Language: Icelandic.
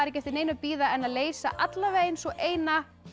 ekki eftir neinu að bíða en að leysa eins og eina